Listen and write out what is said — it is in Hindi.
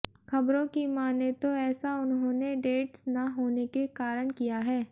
खबरों की माने तो ऐसा उन्होने डेट्स ना होने के कारण किया है